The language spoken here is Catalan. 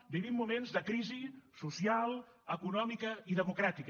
vivim moments de crisi social econòmica i democràtica